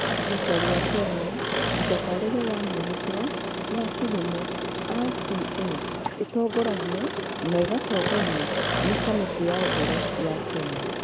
Thirikari ya Kenya Mũtabarĩre wa Mwĩhĩtwa wa Kĩhumo (RCA) ĩtongoragio na ĩgatongorio nĩ Kamĩtĩ ya Ũhoro ya Kenya.